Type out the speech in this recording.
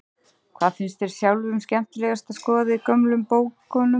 Hvað finnst þér sjálfum skemmtilegast að skoða í gömlu bókunum?